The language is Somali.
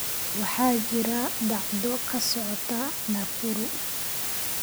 waxaa jira dhacdo ka socota nakuru